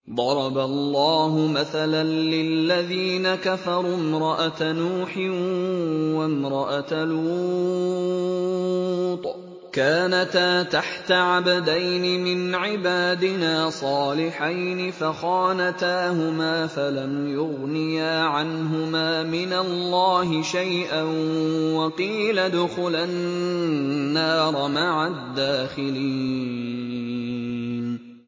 ضَرَبَ اللَّهُ مَثَلًا لِّلَّذِينَ كَفَرُوا امْرَأَتَ نُوحٍ وَامْرَأَتَ لُوطٍ ۖ كَانَتَا تَحْتَ عَبْدَيْنِ مِنْ عِبَادِنَا صَالِحَيْنِ فَخَانَتَاهُمَا فَلَمْ يُغْنِيَا عَنْهُمَا مِنَ اللَّهِ شَيْئًا وَقِيلَ ادْخُلَا النَّارَ مَعَ الدَّاخِلِينَ